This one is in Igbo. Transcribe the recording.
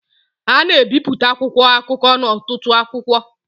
a na-ebipụta akwụkwọ akụkọ n'ọtụtụ akwụkwọ